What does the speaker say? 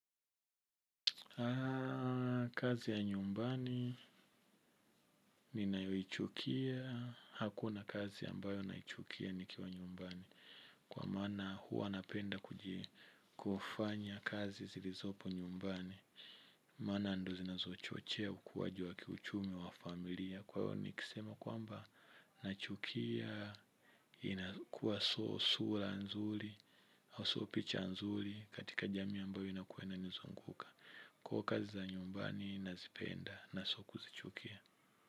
Kazi ya nyumbani ninayoichukia. Hakuna kazi ambayo naichukia nikiwa nyumbani. Kwa maana huwa napenda kuji kufanya kazi zilizopo nyumbani. Maana ndo zinazochochea ukuwaji wa kiuchumi wa familia. Kwa hayo nikisema kwamba nachukia inakuwa soo sura nzuri so picha nzuri katika jamii ambayo imekuwa inanizunguka. Kwa kazi za nyumbani nazipenda nasio kuzichukia.